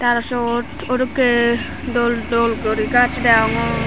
tey aro seyot odokay dol dol guri gas degongor.